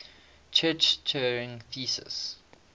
church turing thesis